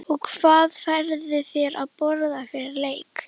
og hvað færðu þér að borða fyrir leik?